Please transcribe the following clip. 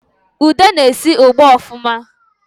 Ude na-esi ugba ọfụma